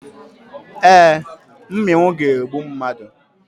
Ee, mmịnwụ ga-egbu mmadụ.